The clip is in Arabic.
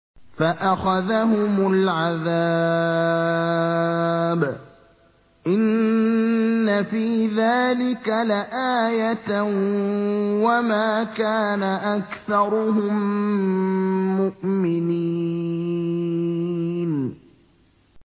فَأَخَذَهُمُ الْعَذَابُ ۗ إِنَّ فِي ذَٰلِكَ لَآيَةً ۖ وَمَا كَانَ أَكْثَرُهُم مُّؤْمِنِينَ